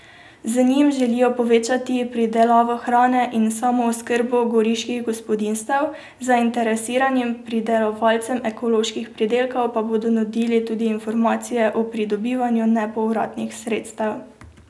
Z njim želijo povečati pridelavo hrane in samooskrbo goriških gospodinjstev, zainteresiranim pridelovalcem ekoloških pridelkov pa bodo nudili tudi informacije o pridobivanju nepovratnih sredstev.